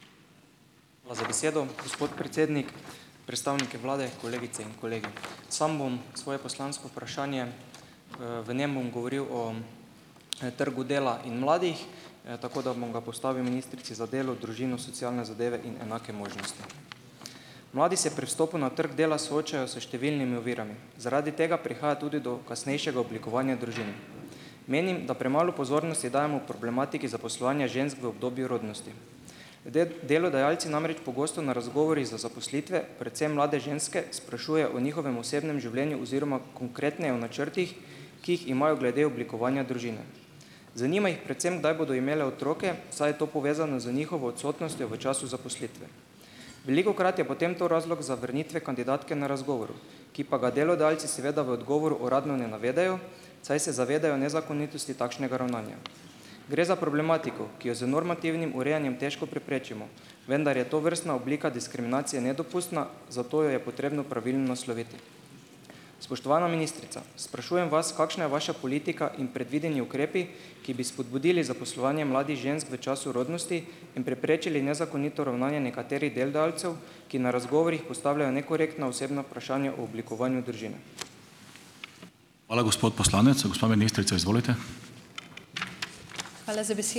Hvala za besedo, gospod predsednik. Predstavniki vlade, kolegice in kolegi! Samo bom svoje poslansko vprašanje, v njem bom govoril o trgu dela in mladih, tako da bom ga postavil ministrici za delo, družino, socialne zadeve in enake možnosti. Mladi se pri vstopu na trgu dela soočajo s številnimi ovirami, zaradi tega prihaja tudi do kasnejšega oblikovanja družin. Menim, da premalo pozornosti dajemo problematiki zaposlovanja žensk v obdobju rodnosti. Delodajalci namreč pogosto na razgovorih za zaposlitve predvsem mlade ženske sprašujejo o njihovem osebnem življenju oziroma konkretneje o načrtih, ki jih imajo glede oblikovanja družine. Zanima jih predvsem, kdaj bodo imele otroke, saj je to povezano z njihovo odsotnostjo v času zaposlitve. Velikokrat je potem to razlog zavrnitve kandidatke na razgovoru, ki pa ga delodajalci seveda v odgovoru uradno ne navedejo, saj se zavedajo nezakonitosti takšnega ravnanja. Gre za problematiko, ki jo z normativnim urejanjem težko preprečimo. Vendar je tovrstna oblika diskriminacije nedopustna, zato jo je potrebno pravilno nasloviti. Spoštovana ministrica, sprašujem vas, kakšna je vaša politika in predvideni ukrepi, ki bi spodbudili zaposlovanje mladih žensk v času rodnosti in preprečili nezakonito ravnanje nekaterih delodajalcev, ki na razgovorih postavljajo nekorektna osebna vprašanja o oblikovanju družine.